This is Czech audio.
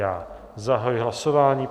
Já zahajuji hlasování.